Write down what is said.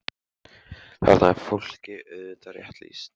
Þarna er fólki auðvitað rétt lýst.